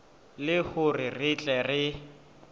le hore re tle re